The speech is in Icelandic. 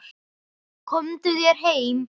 Komdu þér heim!